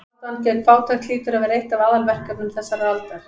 Baráttan gegn fátækt hlýtur að vera eitt af aðalverkefnum þessarar aldar.